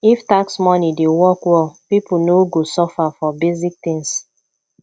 if tax money dey work well people no go suffer for basic things